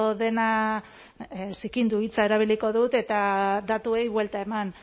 dena zikindu hitza erabiliko dut eta datuei buelta eman